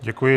Děkuji.